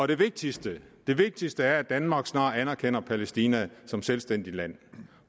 det vigtigste det vigtigste er at danmark snart anerkender palæstina som selvstændigt land